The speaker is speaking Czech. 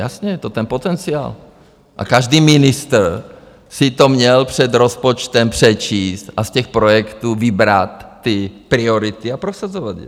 Jasně, to je ten potenciál, a každý ministr si to měl před rozpočtem přečíst a z těch projektů vybrat ty priority a prosazovat je.